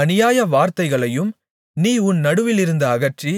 அநியாய வார்த்தைகளையும் நீ உன் நடுவிலிருந்து அகற்றி